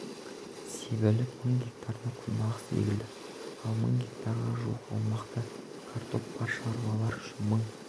себіліп мың гектарына күнбағыс егілді ал мың гектарға жуық аумақта картоп бар шаруалар үшін мың